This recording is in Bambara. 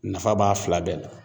Nafa b'a fila bɛɛ la